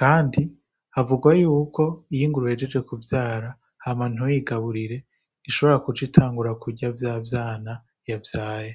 Kandi havugwa yuko, iyo ingurube ihejeje kuvyara, hama ntuyigaburire, ishobora guca itangura kurya vya vyana yavyaye.